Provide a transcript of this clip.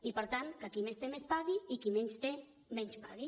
i per tant que qui més té més pagui i qui menys té menys pagui